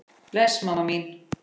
Bless mamma mín.